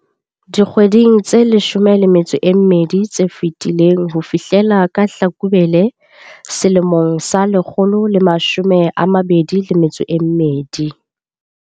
Dikgweding tse 12 tse fetileng ho fihlela ka Hlakubele 2022.